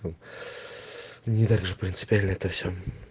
не также принципиально это всё